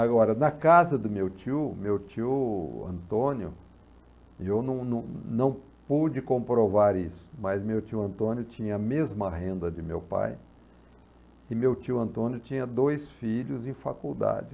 Agora, na casa do meu tio, meu tio Antônio, eu não não não pude comprovar isso, mas meu tio Antônio tinha a mesma renda de meu pai e meu tio Antônio tinha dois filhos em faculdade.